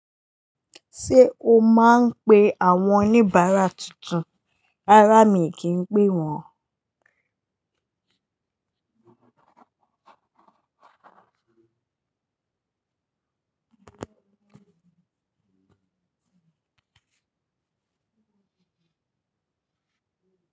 Ṣé o máa ń pe àwọn oníbàárà tuntun? Rárá, mi kì í ń pè wọ́n.